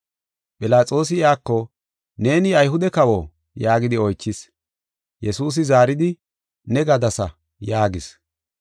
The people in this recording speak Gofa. Philaxoosi iyako, “Neeni Ayhude kawo?” yaagidi oychis. Yesuusi zaaridi, “Ne gadasa” yaagis.